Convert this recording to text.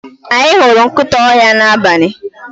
Anyi huru nkita ohia na abali.